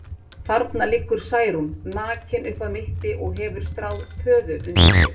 Þarna liggur Særún, nakin upp að mitti og hefur stráð töðu undir sig.